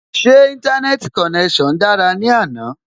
Ṣé Íńtánẹ́ẹ̀tì konẹ́sàn dára ní àná?